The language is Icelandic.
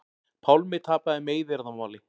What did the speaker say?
Pálmi tapaði meiðyrðamáli